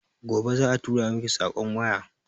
Gobe za a turamiki sakon waya